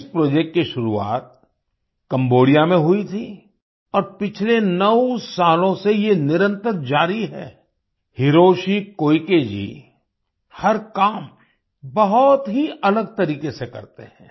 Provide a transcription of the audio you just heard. इस प्रोजेक्ट की शुरुआत कैम्बोडिया में हुई थी और पिछले 9 सालों से ये निरंतर जारी है हिरोशि कोइके जी हर काम बहुत ही अलग तरीके से करते हैं